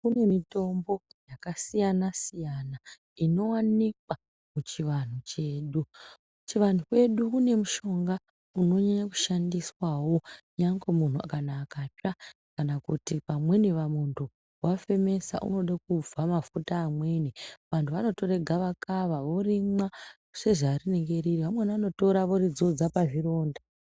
Pane mitombo yakasiyana siyana inowanikwa muchivanhu chedu. Kuchivanhu kwedu kune mushonga unonyanya kushandiswawo nyangwe munhu kana akatsva kana kuti pamweniwo muntu wafemesa unoda kubva mafuta amweni. Vanhu vanotora gavakava vorimwa sezvarinenge riri, vamweni vanoritora voridzodza pazvironda.